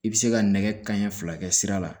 I bɛ se ka nɛgɛ kanɲɛ fila kɛ sira la